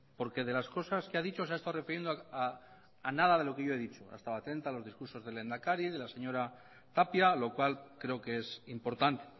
porque de las cosas que ha dicho se ha estado refiriendo a nada de lo que yo he dicho ha estado atenta a los discursos del lehendakari de la señora tapia lo cual creo que es importante